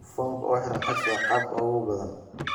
Foomka ku xiran X waa qaabka ugu badan.